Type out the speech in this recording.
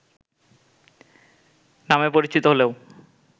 নামে পরিচিত হলেও